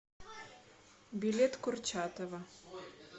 билет курчатова